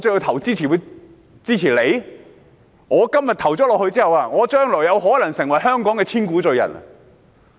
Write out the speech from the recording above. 如我今天表決支持，將來有可能成為香港的千古罪人。